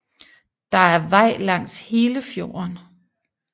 Det er vej langs hele fjorden